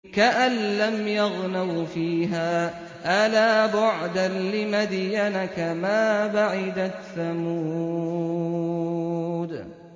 كَأَن لَّمْ يَغْنَوْا فِيهَا ۗ أَلَا بُعْدًا لِّمَدْيَنَ كَمَا بَعِدَتْ ثَمُودُ